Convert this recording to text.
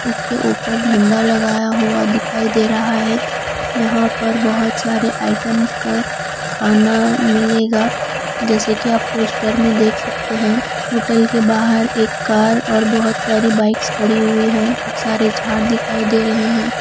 इसके ऊपर झंडा लगाया हुआ दिखाई दे रहा है यहां पर बहुत सारे आइटम्स का खाना मिलेगा जैसे कि आप पोस्टर में देख सकते हैं होटल के बाहर एक कार और बहुत सारी बाइक्स खड़ी हुई हैं बहुत सारे झाड़ दिखाई दे रहे हैं।